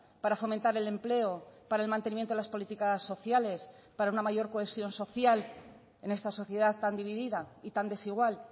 para fomentar el empleo para el mantenimiento de las políticas sociales para una mayor cohesión social en esta sociedad tan dividida y tan desigual